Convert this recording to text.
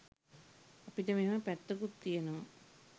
අපිට මෙහෙම පැත්තකුත් තියනවා